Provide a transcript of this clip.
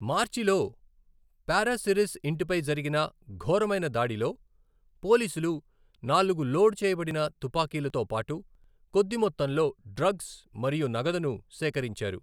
మార్చిలో పారాసిరిస్ ఇంటిపై జరిగిన ఘోరమైన దాడిలో, పోలీసులు నాలుగు లోడ్ చేయబడిన తుపాకీలతో పాటు కొద్ది మొత్తంలో డ్రగ్స్ మరియు నగదును సేకరించారు.